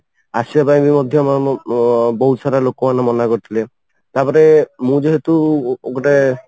ଆସିବା ପାଇଁ ବି ମଧ୍ୟ ବହୁତ ସାରା ଲୋକମାନେ ମନା କରିଥିଲେ ତାପରେ ମୁଁ ଯେହେତୁ ଗୋଟେ